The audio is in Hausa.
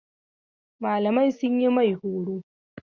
Malamai sun yi mai horo.